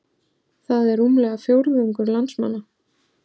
Það er rúmlega fjórðungur landsmanna